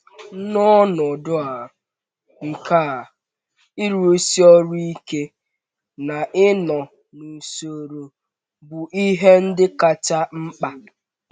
N’ọnọdụ nke a, ịrụsi ọrụ ike na ịnọ n’usoro bụ ihe ndị kacha mkpa.